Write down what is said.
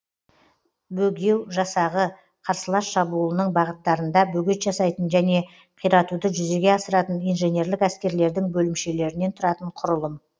бөгеу жасағы қарсылас шабуылының бағыттарында бөгет жасайтын және қиратуды жүзеге асыратын инженерлік әскерлердің бөлімшелерінен тұратын кұрылым